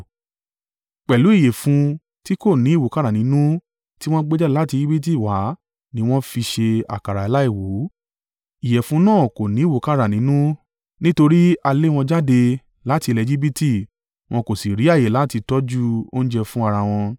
Pẹ̀lú ìyẹ̀fun tí kò ní ìwúkàrà nínú tí wọ́n gbé jáde láti Ejibiti wá ni wọ́n fi ṣe àkàrà aláìwú. Ìyẹ̀fun náà kò ni ìwúkàrà nínú nítorí a lé wọn jáde láti ilẹ̀ Ejibiti wọn kò si rí ààyè láti tọ́jú oúnjẹ fún ara wọn.